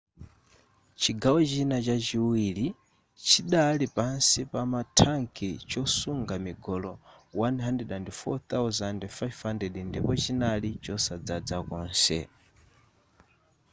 chigawo china chachiwili chidali pansi pama thanki chosunga migolo 104,500 ndipo chinali chosadzaza konse